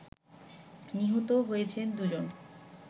নিহত হয়েছেন দু'জন